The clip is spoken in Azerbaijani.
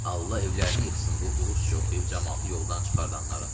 Allah evlərini yıxsın bu Rusca oxuyub camaatı yoldan çıxardanların.